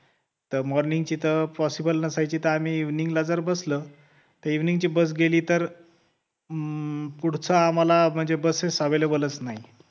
तर morning चित् possible नसायचं त आम्ही evening ला जर बसलं तर evening ची bus गेली त पुढचं आम्हाला म्हणजे busses available च नाही